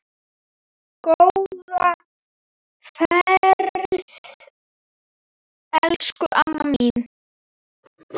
Góða ferð, elsku amma mín.